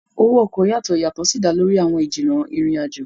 owó oko yàtọ, ìyàtò sí dá lórí àwọn ijinna ìrìn ajọ